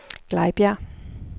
Glejbjerg